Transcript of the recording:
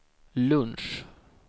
lunch